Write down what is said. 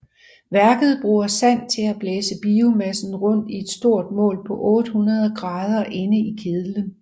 Værket bruger sand til at blæse biomassen rundt i et stort bål på 800 grader inde i kedlen